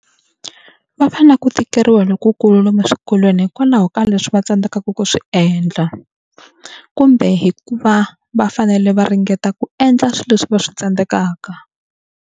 Va va na ku tikeriwa lokukulu lomu eswikolweni hikwalaho ka leswi va tsandzekaka ku swi endla kumbe hikuva va fanele va ringeta ku endla swilo leswi va swi tsandzekaka.